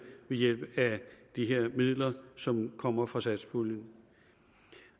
ved hjælp af de her midler som kommer fra satspuljen